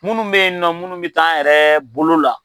Minnu bɛ yen, minnu bɛ k'an yɛrɛ bolo la